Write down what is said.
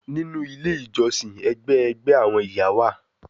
Ninu ile ijọsin, ẹgbẹ ẹgbẹ awọn iya wa